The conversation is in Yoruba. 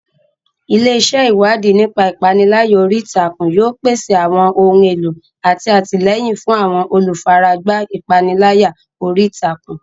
Ilé iṣẹ́ Ìwádìí nípa ìpániláyà orí ìtàkùn yóò pèsè àwọn ohun èlò àti àtìlẹ́yìn fún àwọn olùfaragbá ìpániláyà orí ìtàkùn.